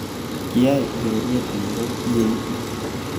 Kiay ureriet ngoro ietu